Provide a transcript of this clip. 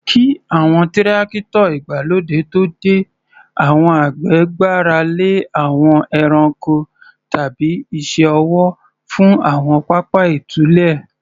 Kí àwọn Tírákítọ̀ ìgbàlódé tó dé, àwọn àgbẹ̀ gbára lé àwọn ẹranko tàbí iṣẹ́ ọwọ́ fún àwọn pápá ìtúlẹ̀.